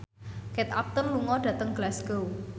Kate Upton lunga dhateng Glasgow